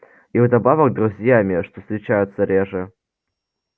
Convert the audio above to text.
и вдобавок друзьями что встречается реже